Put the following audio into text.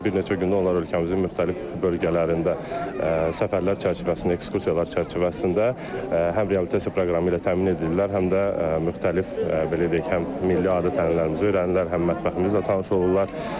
Bir neçə gündür onlar ölkəmizin müxtəlif bölgələrində səfərlər çərçivəsində, ekskursiyalar çərçivəsində həm reabilitasiya proqramı ilə təmin edirlər, həm də müxtəlif, belə deyək, həm milli adət-ənənələrimizi öyrənirlər, həm mətbəximizlə tanış olurlar.